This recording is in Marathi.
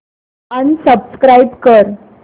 अनसबस्क्राईब कर